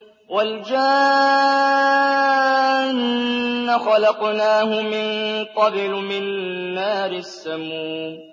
وَالْجَانَّ خَلَقْنَاهُ مِن قَبْلُ مِن نَّارِ السَّمُومِ